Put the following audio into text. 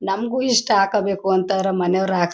ನಂಗೂ ಇಷ್ಟ ಹಾಕೋಬೇಕು ಅಂತ ಆದರೆ ಮನೆಯವರು ಹಾಕ--